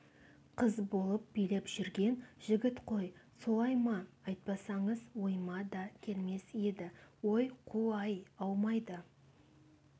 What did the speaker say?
қыз болып билеп жүрген жігіт қой солай ма айтпасаңыз ойыма да келмес еді ой қу-ай аумайды